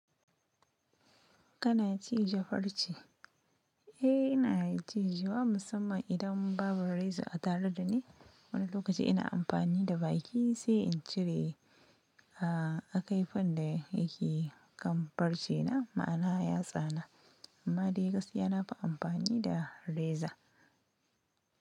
Kana cije farce? Eh, ina ciji, wa musamman idan babu reza a tare da ni. Wani lokaci ina amfani da baki sai in cire a kai fan da yake kam farce na, ma'ana yatsana. Amma dai gaskiya na fi amfani da reza.